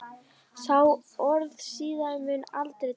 Sá orðstír mun aldrei deyja.